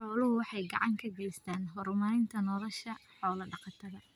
Xooluhu waxay gacan ka geystaan ??horumarinta nolosha xoolo-dhaqatada.